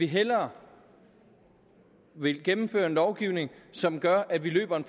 hellere vil gennemføre en lovgivning som gør at vi løber ind